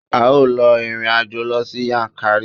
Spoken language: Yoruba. A ó lọ ìrìn àjò sí Yankari.